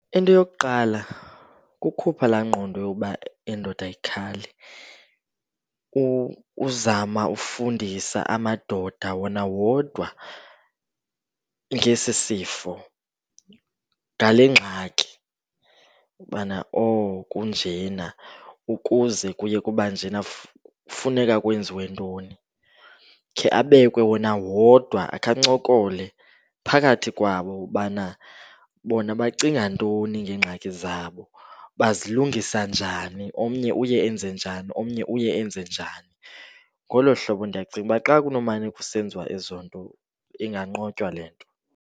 Into yokuqala kukhupha laa ngqondo yokuba indoda ayikhali. Uzama ufundisa amadoda wona wodwa ngesi sifo, ngale ngxaki ubana oh kunjena. Ukuze kuye kuba njena funeka kwenziwe ntoni? Khe abekwe wona wodwa, akhe ancokole phakathi kwabo ubana bona bacinga ntoni ngeengxaki zabo. Bazilungisa njani? Omnye uye enze njani, omnye uye enze njani? Ngolo hlobo, ndiyacinga uba xa kunomane kusenziwa ezo nto inganqotywa le nto.